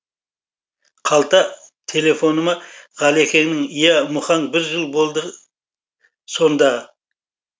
қалта телефоныма ғалекеңнен иә мұқаң бір жыл болды сонда